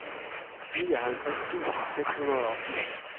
nioghalvtreds tusind seks hundrede og firs